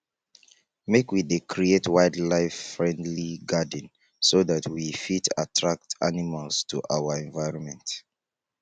make we dey create wildlifefriendly garden so dat we fit attract animals to our environment